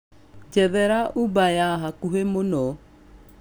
njethera Uber ya hakũhĩ mũno